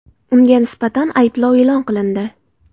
Unga nisbatan ayblov e’lon qilindi.